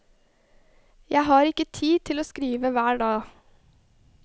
Jeg har ikke tid til å skrive hver dag.